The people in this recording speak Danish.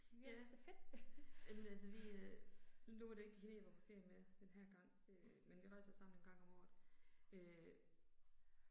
Ja. Jamen altså vi øh. Nu var det ikke hende jeg var på ferie med den her gang øh men vi rejser sammen en gang om året øh